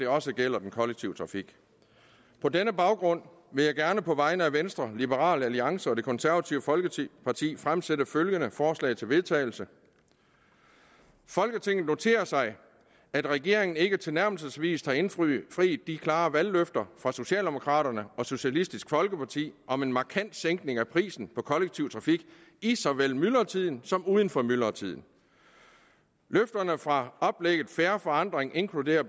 også gælder den kollektive trafik på denne baggrund vil jeg gerne på vegne af venstre liberal alliance og det konservative folkeparti fremsætte følgende forslag til vedtagelse folketinget noterer sig at regeringen ikke tilnærmelsesvis har indfriet de klare valgløfter fra socialdemokraterne og socialistisk folkeparti om en markant sænkning af prisen på kollektiv trafik i så vel myldretiden som uden for myldretiden løfterne fra oplægget fair forandring inkluderer